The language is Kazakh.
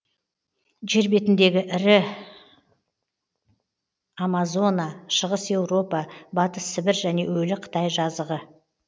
жер бетіндегі ірі амазона шығыс еуропа батыс сібір және өлі қытай жазығы